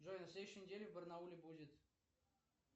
джой на следующей неделе в барнауле будет